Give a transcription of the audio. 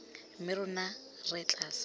mme rona re tla sala